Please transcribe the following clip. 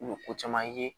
U bɛ ko caman ye